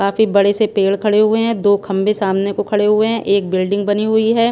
काफी बड़े से पेड़ खड़े हुए हैं दो खंबे सामने को खड़े हुए हैं एक बिल्डिंग बनी हुई हैं।